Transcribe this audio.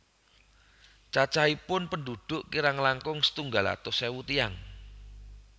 Cacahipun pendhudhuk kirang langkung setunggal atus ewu tiyang